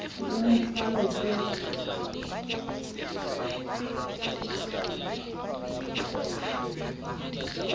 ke ka mo hlala ke